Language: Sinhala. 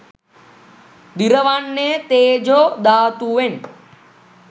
දිරවන්නේ තේජෝ ධාතුවෙන්.